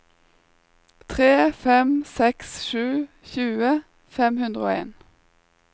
tre fem seks sju tjue fem hundre og en